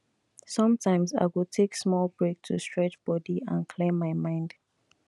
sometimes i go take small break to stretch body and clear my mind